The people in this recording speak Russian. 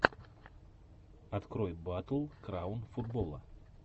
открой батл краун футбола